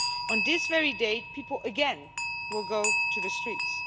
On this very day, people again will go to the streets.